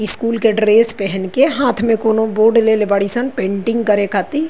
School के dress पेहेन के हाथ में कोनो बोर्ड लेले बाड़ीसन पेंटिंग करे खाती।